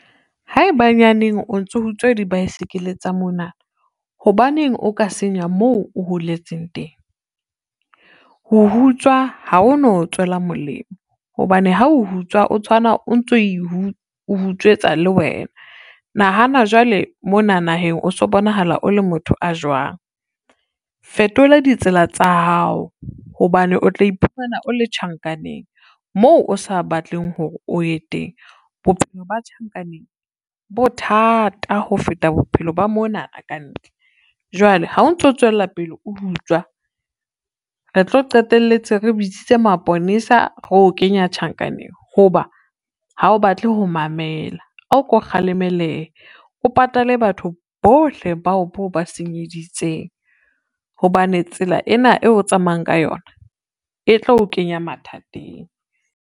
Haebenyaneng o ntso utswa di-bicycle tsa mona, hobaneng o ka senya moo o holetseng teng. Ho utswa ha o no tswela molemo hobane ha o utswa, o tshwana o ntso e utswetsa le wena. Nahana jwale mona naheng o so bonahala o le motho a jwang, fetola ditsela tsa hao hobane o tlo iphumana o le tjhankaneng moo o sa batleng hore o ye teng. Bophelo ba tjhankaneng bothata ho feta bophelo ba monana ka ntle, jwale ha o ntso tswela pele o utswa re tlo qetelletse re bitsitse maponesa, re o kenya tjhankaneng ho ba, ha o batle ho mamela, o ko kgalemelehe o patale batho bohle bao boo ba senyeditseng, hobane tsela ena eo o tsamayang ka yona e tlo o kenya mathateng.